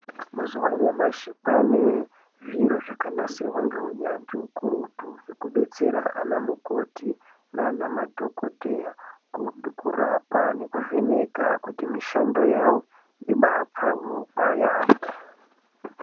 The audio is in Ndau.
Mazuwa anyamashi kwaane zviri zvakanasirwa ngeunyanzvi ukurutu, zvekubetsera anamukoti naanamadhokodheya kurapa nekuvheneka kuti mishando yavo ibaapfawewo yaampho.